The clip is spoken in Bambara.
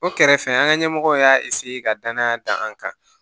O kɛrɛfɛ an ka ɲɛmɔgɔw y'a ka danaya da an kan